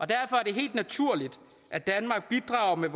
derfor er det helt naturligt at danmark bidrager med